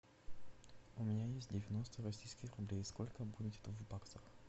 у меня есть девяносто российских рублей сколько будет в баксах